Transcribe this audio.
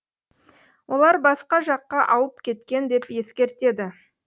олар басқа жаққа ауып кеткен деп ескертеді